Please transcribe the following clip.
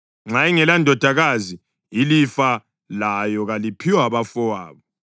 Nxa ingelandodakazi, ilifa layo kaliphiwe abafowabo.